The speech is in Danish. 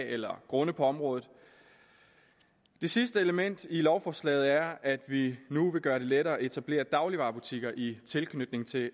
eller grunde på området det sidste element i lovforslaget er at vi nu vil gøre det lettere at etablere dagligvarebutikker i tilknytning til